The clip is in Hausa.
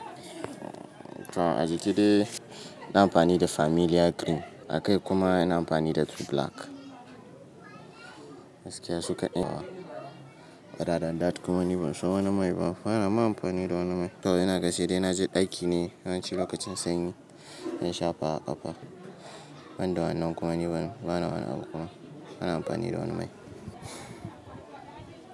To aji ki dai ina amfani da familiar green a kai kuma ina amfani da two black. Gaskiya su ka ɗai nawa, da daddata kuma ni ban so wani mai ba. Bana ma amfani da wani mai. To ina ga sai dai ina je ɗaki ne, yawanci lokacin sanyi ina shafa a ƙafa. Banda wannan kuma ni bana, bana wani amfa, bana amfani da wani mai.